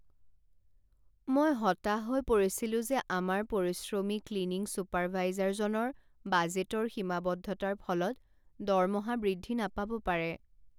মই হতাশ হৈ পৰিছিলো যে আমাৰ পৰিশ্ৰমী ক্লিনিং চুপাৰভাইজাৰজনৰ বাজেটৰ সীমাবদ্ধতাৰ ফলত দৰমহা বৃদ্ধি নাপাব পাৰে।